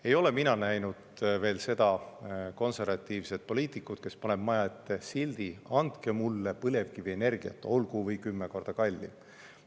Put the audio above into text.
Ei ole mina näinud veel seda konservatiivset poliitikut, kes paneb maja ette sildi "Andke mulle põlevkivienergiat, olgu või kümme korda kallim!".